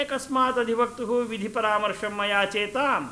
एकस्मात् अधिवक्तुः विधिपरामर्शम् अयाचेताम्।